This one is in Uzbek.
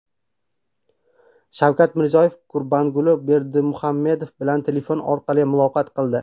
Shavkat Mirziyoyev Gurbanguli Berdimuhamedov bilan telefon orqali muloqot qildi.